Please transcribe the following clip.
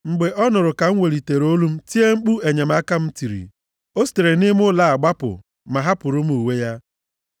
Mgbe ọ nụrụ ka m welitere olu m tie mkpu enyemaka m tiri, o sitere nʼime ụlọ a gbapụ, ma hapụrụ m uwe ya.”